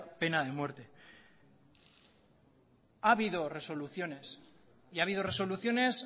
pena de muerte ha habido resoluciones y ha habido resoluciones